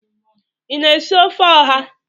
Ị na-esi ofe oha?